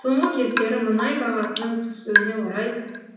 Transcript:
соңғы кездері мұнай бағасының түсуіне орай